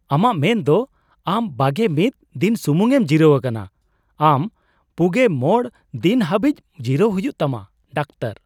ᱟᱢᱟᱜ ᱢᱮᱱ ᱫᱚ ᱟᱢ ᱒᱑ ᱫᱤᱱ ᱥᱩᱢᱩᱝ ᱮᱢ ᱡᱤᱨᱟᱹᱣ ᱟᱠᱟᱱᱟ? ᱟᱢ ᱔᱕ ᱫᱤᱱ ᱦᱟᱹᱵᱤᱡ ᱡᱤᱨᱟᱹᱜ ᱦᱩᱭᱩᱜ ᱛᱟᱢᱟ ᱾ (ᱰᱟᱠᱛᱟᱨ)